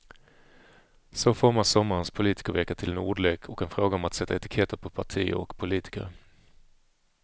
Så formas sommarens politikervecka till en ordlek och en fråga om att sätta etiketter på partier och politiker.